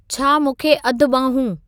छा मूंखे अधु ॿांहूं